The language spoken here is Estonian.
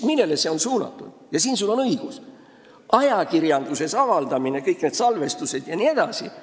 Millele on see ajakirjanduses avaldamine, kõik need salvestised jm suunatud?